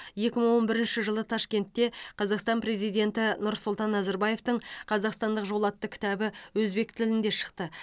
екі мың он бірінші жылы ташкентте қазақстан президенті нұрсұлтан назарбаевтың қазақстандық жол атты кітабы өзбек тілінде шықты